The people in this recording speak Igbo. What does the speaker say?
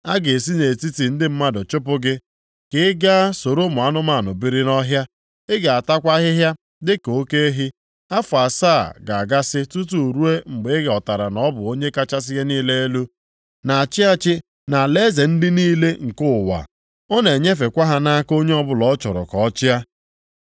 A ga-esi nʼetiti ndị mmadụ chụpụ gị, ka ị gaa soro ụmụ anụmanụ biri nʼọhịa. Ị ga-atakwa ahịhịa dịka oke ehi, afọ asaa ga-agasị tutu ruo mgbe ị ghọtara na ọ bụ Onye kachasị ihe niile elu na-achị achị nʼalaeze dị niile nke ụwa. Ọ na-enyefekwa ha nʼaka onye ọbụla ọ chọrọ ka ọ chịa.”